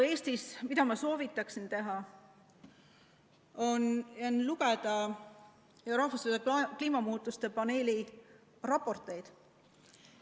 Eestis ma soovitan lugeda rahvusvahelise kliimamuutuste paneeli raporteid.